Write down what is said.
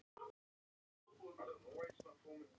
Mynd: Menningarmiðstöð Hornafjarðar.